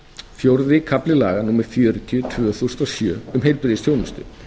fjórði kafli laga númer fjörutíu tvö þúsund og sjö um heilbrigðisþjónustu